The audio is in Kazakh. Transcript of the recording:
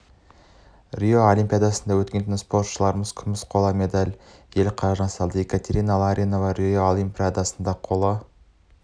рио олимпиадасында өткен түні спортшыларымыз күміс қола медаль ел қоржынына салды екатерина ларионова рио олимпиадасының қола